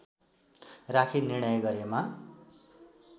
राखी निर्णय गरेमा